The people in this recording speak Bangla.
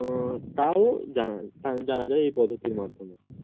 আহ তাও জানা জানা যায় এই পদ্ধতির মাধ্যমে